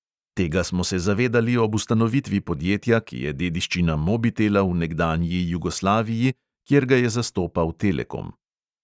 Tega smo se zavedali ob ustanovitvi podjetja, ki je dediščina mobitela v nekdanji jugoslaviji, kjer ga je zastopal telekom.